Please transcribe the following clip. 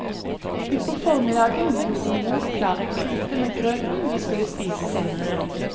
Ut på formiddagen gjorde mor klar en gryte med grøten vi skulle spise senere.